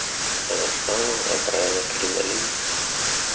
она встала оправила кринолин